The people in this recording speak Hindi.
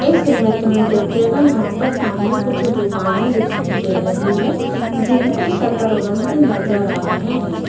इस इमेज में देखिएगा यहां पर सामने कुछ दुकाने दिखाई दे रही है जिनके शटर बंद नजर आ रहे है।